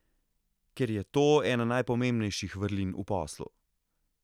Ker je to ena najpomembnejših vrlin v poslu.